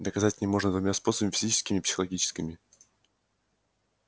доказать же можно двумя способами физическим и психологическим